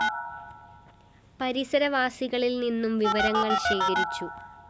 പരിസരവാസികളില്‍ നിന്നും വിവരങ്ങള്‍ ശേഖരിച്ചു